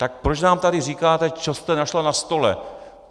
Tak proč nám tady říkáte, co jste našla na stole?